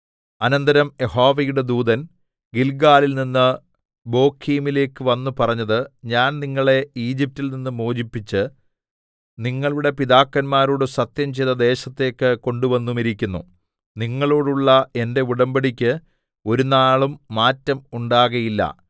അനന്തരം യഹോവയുടെ ദൂതൻ ഗില്ഗാലിൽനിന്ന് ബോഖീമിലേക്ക് വന്ന് പറഞ്ഞത് ഞാൻ നിങ്ങളെ ഈജിപ്റ്റിൽ നിന്ന് മോചിപ്പിച്ച് നിങ്ങളുടെ പിതാക്കന്മാരോട് സത്യംചെയ്ത ദേശത്തേക്ക് കൊണ്ടുവന്നുമിരിക്കുന്നു നിങ്ങളോടുള്ള എന്റെ ഉടമ്പടിക്ക് ഒരുനാളും മാറ്റം ഉണ്ടാകയില്ല